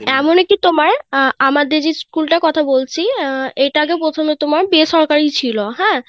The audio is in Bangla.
এমন কি তোমার, আহ আমাদের, school টার কথা বলছি আহ এটা আগে প্রথমে তোমার বেসরকারি ছিল হ্যাঁ.